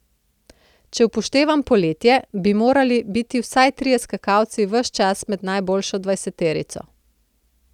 Če upoštevam poletje, bi morali biti vsaj trije skakalci ves čas med najboljšo dvajseterico.